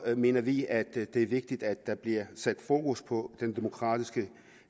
mener vi at det er vigtigt at der bliver sat fokus på den demokratiske